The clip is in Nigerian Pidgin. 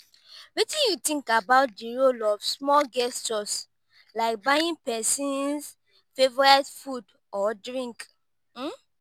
wetin you think about di role of small gestures like buying pesin's favorite food or drink?